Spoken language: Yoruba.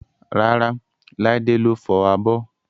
Rárá, Laide ló fọ abọ́